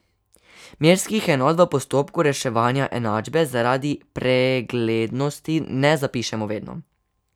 Merskih enot v postopku reševanja enačbe zaradi preglednosti ne zapišemo vedno.